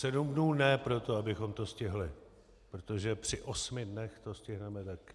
Sedm dnů ne proto, abychom to stihli, protože při osmi dnech to stihneme taky.